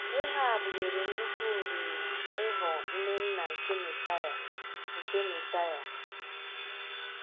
Rahab nwere nnukwu ohere ịghọọ nne nna nke Mesiya. nke Mesiya.